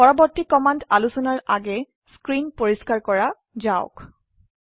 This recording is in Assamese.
পৰবৰ্তী কমান্ড আলোচনাৰ আগে স্ক্ৰিন পৰিস্কাৰ কৰা যাওক